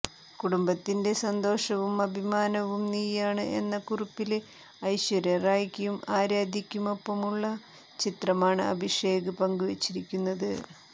കുടുംബത്തിന്റെ സന്തോഷവും അഭിമാനവും നീയാണ് എന്ന കുറിപ്പില് ഐശ്വര്യ റായ്ക്കും ആരാധ്യയ്ക്കുമൊപ്പമുള്ള ചിത്രമാണ് അഭിഷേക് പങ്കുവെച്ചിരിക്കുന്നത്